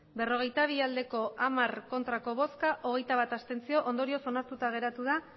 berrogeita bi abstentzioak hogeita bat ondorioz onartuta geratu da